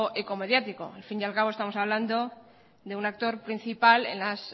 eco mediático al fin y al cabo estamos hablando de un actor principal en las